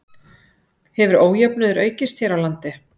Hefur ójöfnuður aukist hér á landi?